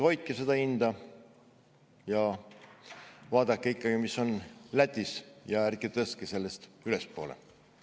Hoidke seda hinda ja vaadake, mis on Lätis, ja ärge tõstke sellest ülespoole.